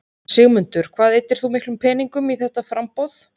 Sigmundur: Hvað eyddir þú miklum peningum í þetta framboð?